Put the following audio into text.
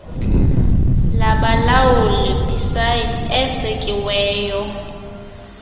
labalawuli becid esekiweyo